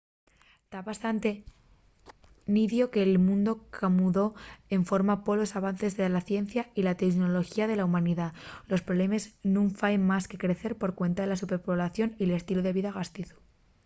ta bastante nidio que'l mundu camudó enforma polos avances de la ciencia y la teunoloxía de la humanidá los problemes nun faen más que crecer por cuenta de la superpoblación y l'estilu de vida gastizu